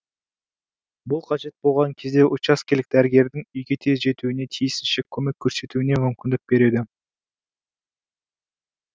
бұл қажет болған кезде учаскелік дәрігердің үйге тез жетуіне тиісінше көмек көрсетуіне мүмкіндік береді